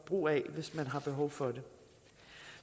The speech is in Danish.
brug af hvis man har behov for det